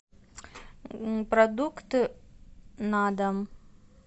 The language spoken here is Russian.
продукты на дом